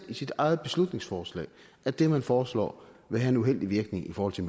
sit eget beslutningsforslag at det man foreslår vil have en uheldig virkning i forhold til